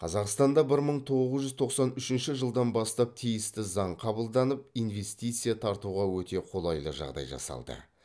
қазақстанда бір мың тоғыз жүз тоқсан үшінші жылдан бастап тиісті заң қабылданып инвестиция тартуға өте қолайлы жағдай жасалды